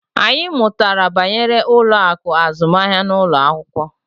Anyị mụtara banyere ụlọ akụ azụmahịa n'ụlọ akwụkwọ